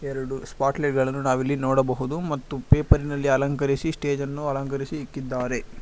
ಎರಡು ಸ್ಪಾಟ್ಲೆಗಳನು ನಾವಿಲ್ಲಿ ನೋಡಬಹುದು ಮತ್ತು ಪೇಪರಿ ನಲ್ಲಿ ಅಲಂಕರಿಸಿ ಸ್ಟೇಜ್ ನ್ನು ಅಲಂಕರಿಸಿ ಇಕ್ಕಿದ್ದಾರೆ.